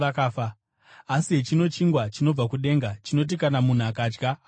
Asi hechino chingwa chinobva kudenga, chinoti kana munhu akadya haangafi.